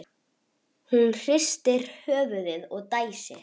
Hún hristir höfuðið og dæsir.